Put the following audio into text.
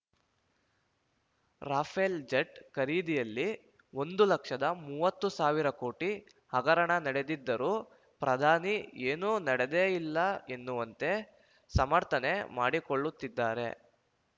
Rafael jet ಖರೀದಿಯಲ್ಲಿ ಒಂದು ಲಕ್ಷದ ಮೂವತ್ತು ಸಾವಿರ ಕೋಟಿ ಹಗರಣ ನಡೆದಿದ್ದರೂ ಪ್ರಧಾನಿ ಏನೂ ನಡೆದೇ ಇಲ್ಲ ಎನ್ನುವಂತೆ ಸಮರ್ಥನೆ ಮಾಡಿಕೊಳ್ಳುತ್ತಿದ್ದಾರೆ